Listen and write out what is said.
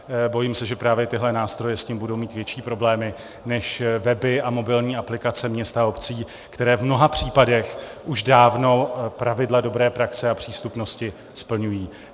Bojím se, že právě tyto nástroje s tím budou mít větší problémy než weby a mobilní aplikace měst a obcí, které v mnoha případech už dávno pravidla dobré praxe a přístupnosti splňují.